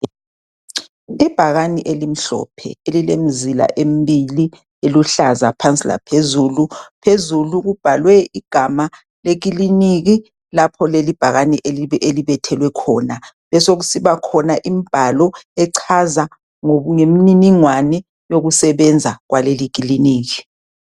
Ibhakani elimhlophe elilemizila embili eluhlaza phansi laphezulu, phezulu kubhalwe igama lekiliniki lapho leli ibhakani elibethelwe khona. Besekusiba khona imibhalo echaza ngemininingwane yokusebenza kwaleli kiliniki.